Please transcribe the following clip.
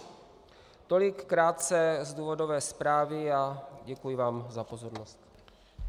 Tolik krátce z důvodové zprávy a děkuji vám za pozornost.